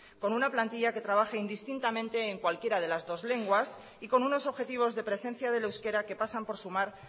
con una plantilla que trabaje indistintamente en cualquiera de las dos lenguas y con unos objetivos de presencia del euskera que pasan por sumar